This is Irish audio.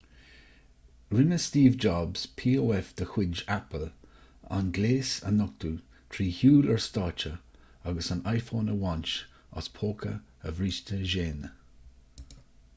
rinne steve jobs pof de chuid apple an gléas a nochtadh trí shiúl ar stáitse agus an iphone a bhaint as póca a bhríste géine